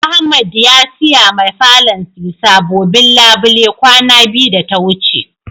Ahmed ya siya ma falon SI sabobin labule kwana biyu da ta wuce.